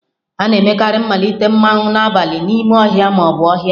A na-emekarị mmalite mmanwu n'abalị n'ime ọhịa ma ọ bụ ọhịa.